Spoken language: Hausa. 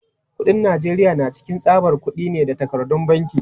Kuɗin Najeriya na cikin tsabar kudi ne da takardun banki.